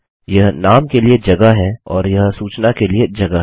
यह नाम के लिए जगह है और यह सूचना के लिए जगह है